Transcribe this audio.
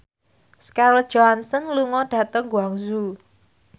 Scarlett Johansson lunga dhateng Guangzhou